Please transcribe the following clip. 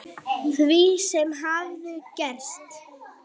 Því sem hafði gerst.